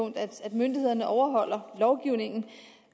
myndighederne overholder lovgivningen